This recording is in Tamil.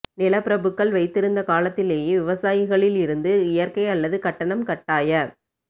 நிலப்பிரபுக்கள் வைத்திருந்த காலத்திலேயே விவசாயிகளில் இருந்து இயற்கை அல்லது கட்டணம் கட்டாய